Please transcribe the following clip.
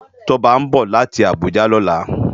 Toba nbó láti Abuja lòlá